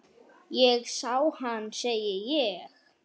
Ég sá hana, segi ég.